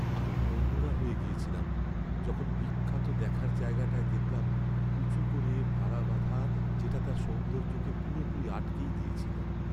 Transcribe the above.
আমি মনমরা হয়ে গিয়েছিলাম যখন বিখ্যাত দেখার জায়গাটায় দেখলাম উঁচু করে ভারা বাঁধা, যেটা তার সৌন্দর্যকে পুরোপুরি আটকেই দিয়েছিল।